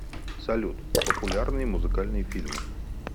салют популярные музыкальные фильмы